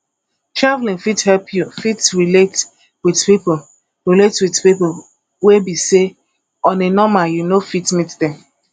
travelling fit help you fit relate with pipo relate with pipo wey be sey on a normal you no fit meet them